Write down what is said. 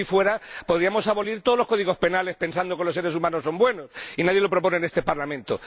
Si así fuera, podríamos abolir todos los códigos penales pensando que los seres humanos son buenos, y nadie lo propone en este Parlamento.